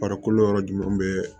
Farikolo yɔrɔ jumɛn bɛ